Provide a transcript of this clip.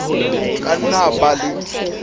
ka nna a ba le